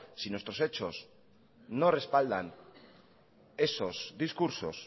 si nuestros hechos no respaldan esos discursos